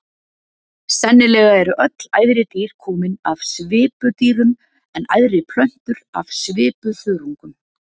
Sennilega eru öll æðri dýr komin af svipudýrum en æðri plöntur af svipuþörungum.